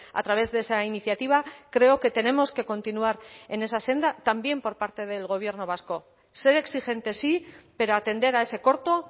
a través de esa iniciativa creo que tenemos que continuar en esa senda también por parte del gobierno vasco ser exigente sí pero atender a ese corto